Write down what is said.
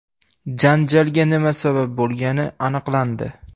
Janjalga nima sabab bo‘lgani aniqlandi.